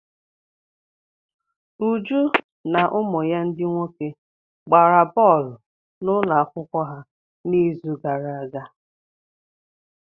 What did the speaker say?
Uju na ụmụ ya ndị nwoke gbara bọọlụ n'ụlọ akwụkwọ ha n'izu gara aga.